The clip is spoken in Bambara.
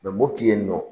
mopti yen nɔ